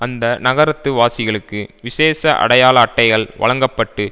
அந்த நகரத்து வாசிகளுக்கு விசேஷ அடையாள அட்டைகள் வழங்க பட்டு